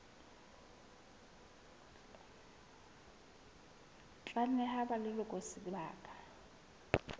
tla neha ba leloko sebaka